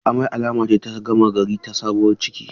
Amai alama ce ta gama gari ta sabuwar ciki.